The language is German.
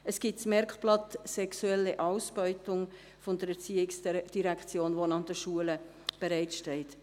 Es gibt das Merkblatt «Sexuelle Ausbeutung» der ERZ, welches für die Schulen bereitsteht.